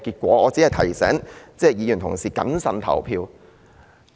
我只是想提醒同事要謹慎投票。